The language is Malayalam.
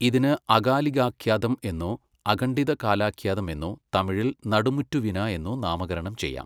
ഇതിനു അകാലികാഖൃാതം എന്നോ അഖണ്ഡിത കാലാഖൃാതം എന്നോ തമിഴിൽ നടുമുറ്റുവിന എന്നോ നാമകരണം ചെയ്യാം.